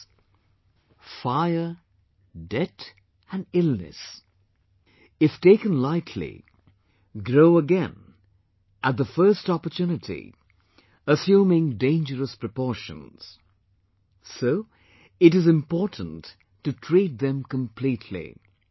That is, Fire, Debt and Illness, if taken lightly, grow again at the first opportunity, assuming dangerous proportions so it is important to treat them completely